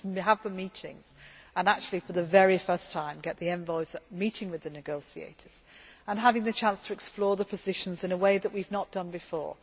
we go. Let us just have the meetings and actually, for the very first time, get the envoys meeting with the negotiators and having the chance to explore the positions in a way that we have not done before.